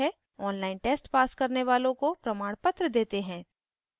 online test pass करने वालों को प्रमाणपत्र देते हैं